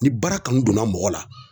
Ni baara kanu donna mɔgɔ la